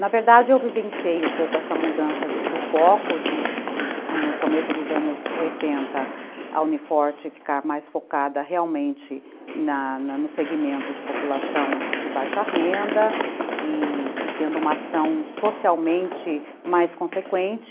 Na verdade, eu vivenciei um pouco essa mudança do foco de, no começo dos anos oitenta, a Uni Forte ficar mais focada realmente no segmento de população de baixa renda e tendo uma ação socialmente mais consequente.